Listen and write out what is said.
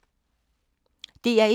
DR1